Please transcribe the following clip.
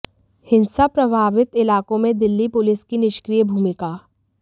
हिंसा प्रभावित इलाकों में दिल्ली पुलिस की निष्क्रिय भूमिका